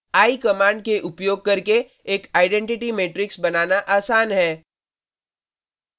eye command का उपयोग करके एक आइडेन्टिटी मेट्रिक्स बनाना आसान है: